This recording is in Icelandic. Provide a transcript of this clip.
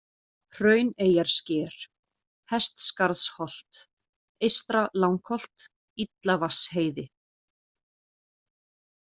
Hrauneyjarsker, Hestskarðsholt, Eystra-Langholt, Illavatnsheiði